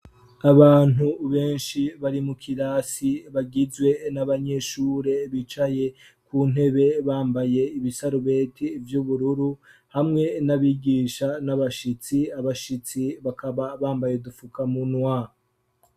Abantu benshi bari mu kirasi, bagizwe n'abanyeshure bicaye ku ntebe, bambaye ibisarubeti vy'ubururu, hamwe n'abigisha n'abashitsi, abashitsi bakaba bambaye udufukamunwa.